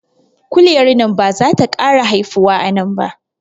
Kuliyan nan bazata kara haifuwa anan ba